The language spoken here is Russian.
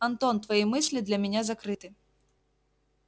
антон твои мысли для меня закрыты